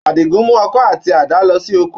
Àdìgún mú ọkọ́ àti àdá lọ sí oko.